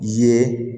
Ye